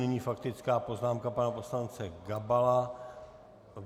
Nyní faktická poznámka pana poslance Gabala.